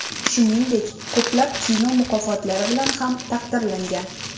Shuningdek, ko‘plab kino mukofotlari bilan ham taqdirlangan.